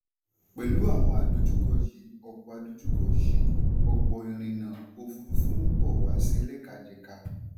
pẹ̀lú àwọn àdojúkọ yìí ọ̀pọ̀ àdojúkọ yìí ọ̀pọ̀ ìrìnà òfurufú ń bọ̀ wà sí ẹlẹ́kajẹ̀ka.